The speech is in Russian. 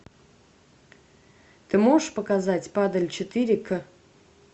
ты можешь показать падаль четыре к